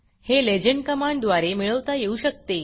हे legendलेजेंड कमांड द्वारे मिळवता येऊ शकते